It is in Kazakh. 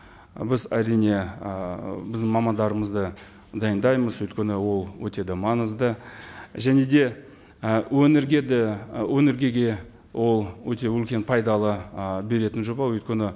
біз әрине ыыы біздің мамандарымызды дайындаймыз өйткені ол өте де маңызды және де і өңірге де ы ол өте үлкен пайдалы ы беретін жоба өйткені